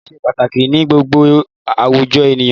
Òfin ṣe pàtàkì ní gbogbo àwùjọ ènìyàn.